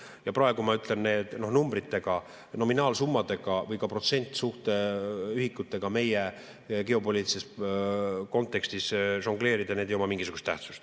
Ja praegu ma ütlen, nende numbritega, nominaalsummadega või ka protsentsuhteühikutega meie geopoliitilises kontekstis žongleerides need ei oma mingisugust tähtsust.